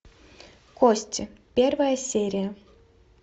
кости первая серия